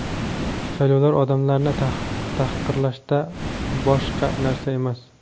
Saylovlar odamlarni tahqirlashdan boshqa narsa emas.